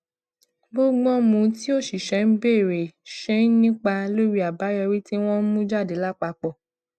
bógbón mu tí òṣìṣé ń béèrè ṣe ń nípa lórí abayọri tí wón ń mú jáde lápapò